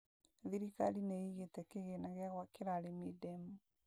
Thirikari nĩ ĩigĩte kĩgĩna gĩa gwakĩra arĩmi ndemu